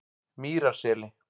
Mýrarseli